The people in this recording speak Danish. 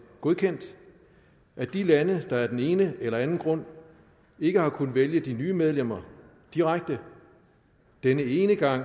godkendt at de lande der af den ene eller anden grund ikke har kunnet vælge de nye medlemmer direkte denne ene gang